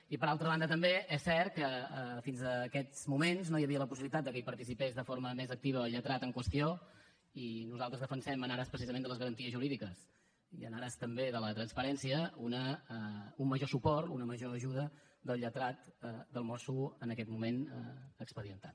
i per altra banda també és cert que fins aquests moments no hi havia la possibilitat que hi participés de forma més activa el lletrat en qüestió i nosaltres defensem en ares precisament de les garanties jurídiques i en ares també de la transparència un major suport una major ajuda del lletrat del mosso en aquest moment expedientat